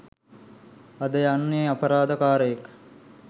අද යන්නෙ අපරාධ කාරයෙක්